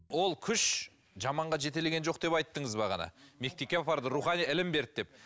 ол күш жаманға жетелеген жоқ деп айттыңыз бағана мектепке апарды рухани ілім берді деп